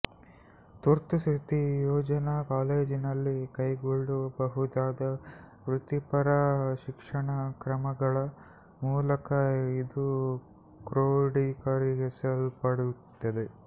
ತುರ್ತುಸ್ಥಿತಿ ಯೋಜನಾ ಕಾಲೇಜಿನಲ್ಲಿ ಕೈಗೊಳ್ಳಬಹುದಾದ ವೃತ್ತಿಪರ ಶಿಕ್ಷಣ ಕ್ರಮಗಳ ಮೂಲಕ ಇದು ಕ್ರೋಡೀಕರಿಸಲ್ಪಡುತ್ತದೆ